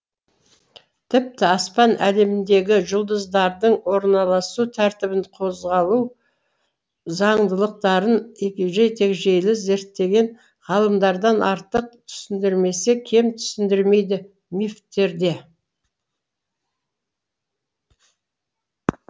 тіпті аспан әлеміндегі жұлдыздардың орналасу тәртібін қозғалу заңдылықтарын егжей тегжейлі зерттеген ғалымдардан артық түсіндірмесе кем түсіндірмейді мифтерде